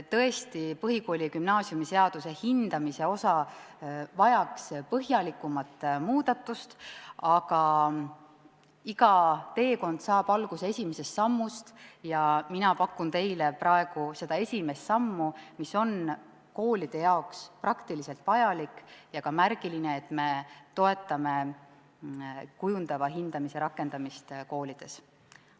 Tõesti, põhikooli- ja gümnaasiumiseaduse hindamise osa vajaks põhjalikumat muutmist, aga iga teekond saab alguse esimesest sammust ja mina pakun teile praegu seda esimest sammu, mis on koolide jaoks praktiliselt vajalik ja ka märgiline, sest me toetame kujundava hindamise rakendamist koolides.